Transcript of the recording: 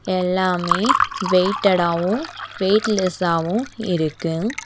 எல்லாமே வெயிட்டடாவும் வெயிட்லெஸ்ஸாவும் இருக்கு.